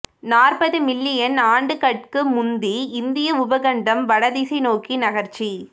நாற்பது மில்லியன் ஆண்டுகட்கு முந்தி இந்திய உபகண்டம் வடதிசை நோக்கி நகர்ச்சி